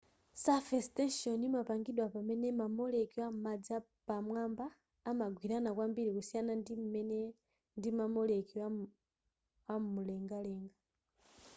surface tension imapangidwa pamene ma molecule amadzi pamwamba amagwirana kwambiri kusiyana ndim'mene ndima molecule amulengalenga